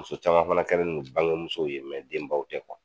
Muso caman fana kɛlen don bangemuso ye denbaw tɛ